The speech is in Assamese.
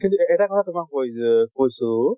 কিন্তু এ এটা কথা তোমাক কয় যে কৈছো